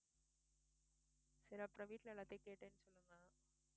சரி அப்புறம் வீட்ல எல்லாத்தையும் கேட்டேன்னு சொல்லுங்க